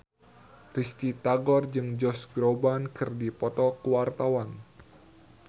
Risty Tagor jeung Josh Groban keur dipoto ku wartawan